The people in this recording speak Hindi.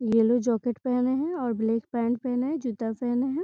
येलो जैकेट पहने है और ब्लैक पैंट पहने है और जूता पहने है।